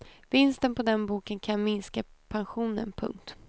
Vinsten på den boken kan minska pensionen. punkt